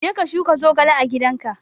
Je ka shuka zogale a gidanka!